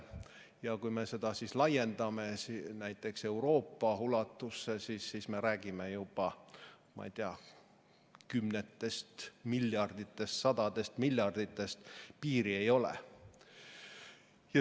Ja kui me seda laiendame näiteks Euroopa ulatusse, siis me räägime juba, ma ei tea, kümnetest miljarditest või isegi sadadest miljarditest – piiri ei ole.